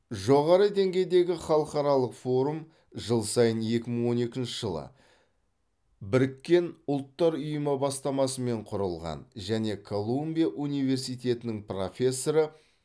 жоғары деңгейдегі халықаралық форум жыл сайын екі мың он екінші жылы біріккен ұлттар ұйымы бастамасымен құрылған және колумбия университетінің профессоры